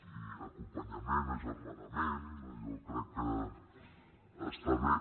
i acompanyament agermanament jo crec que està bé